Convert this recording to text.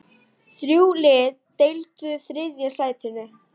Þrjú lið deildu þriðja sætinu.